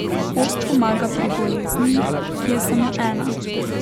Post pomaga pri bolezni, ki je samo ena.